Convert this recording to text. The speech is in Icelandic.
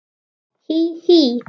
Hí, hí.